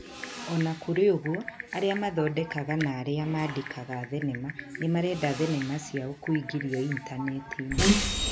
O na kũrĩ ũguo, arĩa mathondekaga na arĩa maandĩkaga thenema nĩ marenda thenema ciao kũingĩrio initaneti-inĩ.